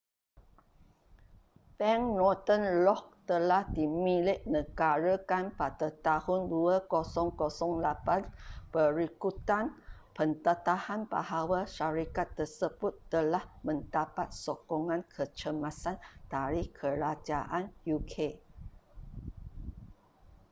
bank northern rock telah dimiliknegarakan pada tahun 2008 berikutan pendedahan bahawa syarikat tersebut telah mendapat sokongan kecemasan dari kerajaan uk